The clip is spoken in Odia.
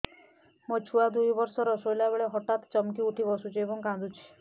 ମୋ ଛୁଆ ଦୁଇ ବର୍ଷର ଶୋଇଲା ବେଳେ ହଠାତ୍ ଚମକି ଉଠି ବସୁଛି ଏବଂ କାଂଦୁଛି